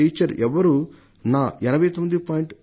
ఎవరూ కూడా నా 89